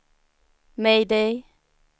mayday